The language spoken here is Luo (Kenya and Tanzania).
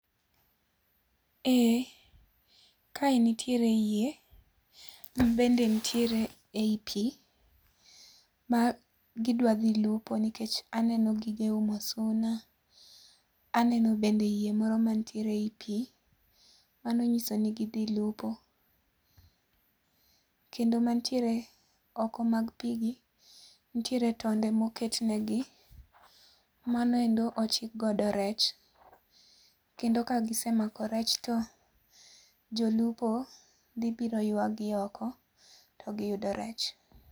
Eeeh, kae nitiere yie, mabende nitiere ei pii ma gidwa dhi lupo nikech aneno gige umo suna, aneno bende yie moro mantiere ei pii. Mano nyiso ni gidhi lupo. Kendo mantiere oko mag pii gi nitiere tonde moket negi, mano endo ochik godo rech kendo ka gisemako rech to jolupo dhi biro ywagi oko to giyudo rech